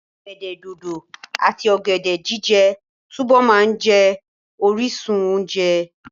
Ọ̀gẹ̀dẹ̀ dòdò àti ọ̀gẹ̀dẹ̀ jíjẹ túbọ̀ máa jẹ́ orísun oúnjẹ.